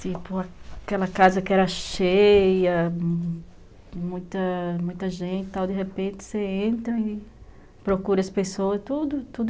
Tipo, aquela casa que era cheia, muita muita gente e tal, de repente você entra e procura as pessoas, tudo tudo